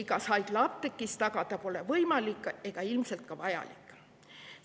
Ravimitööstusega sarnaseid tingimusi pole võimalik ega ilmselt ka vajalik igas haiglaapteegis tagada.